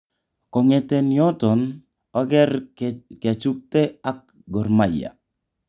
Ko'ngeten yoton oker kechutge ak Gor Mahia.